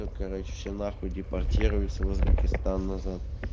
тут короче все на хуй депортируются в узбекистан назад